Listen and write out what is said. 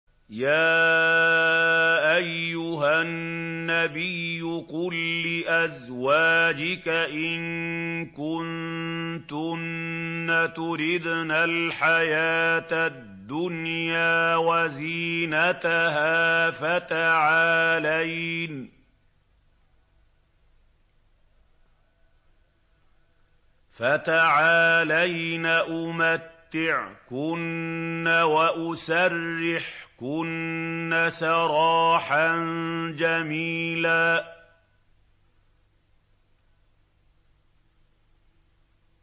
يَا أَيُّهَا النَّبِيُّ قُل لِّأَزْوَاجِكَ إِن كُنتُنَّ تُرِدْنَ الْحَيَاةَ الدُّنْيَا وَزِينَتَهَا فَتَعَالَيْنَ أُمَتِّعْكُنَّ وَأُسَرِّحْكُنَّ سَرَاحًا جَمِيلًا